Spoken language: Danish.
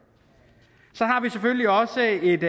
så har vi selvfølgelig også et